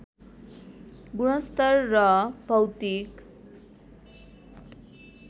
गुणस्तर र भौतिक